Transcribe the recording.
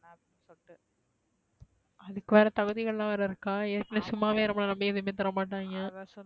இதுக்கு வேற தகுதி களம் வேற இருக்க. ஏற்கனவே சும்மா வே நம்மள நம்பி எதுமே தர மாட்டைங்க